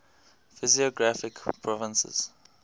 physiographic provinces